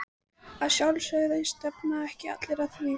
Að sjálfsögðu, stefna ekki allir að því?